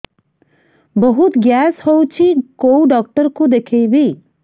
ବହୁତ ଗ୍ୟାସ ହଉଛି କୋଉ ଡକ୍ଟର କୁ ଦେଖେଇବି